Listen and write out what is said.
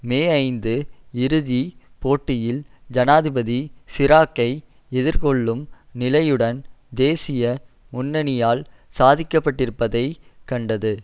மேஐந்து இறுதி போட்டியில் ஜனாதிபதி சிராக்கை எதிர் கொள்ளும் நிலையுடன் தேசிய முன்னணியால் சாதிக்கப்பட்டிருப்பதைக் கண்டது